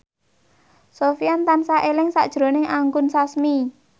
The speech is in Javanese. Sofyan tansah eling sakjroning Anggun Sasmi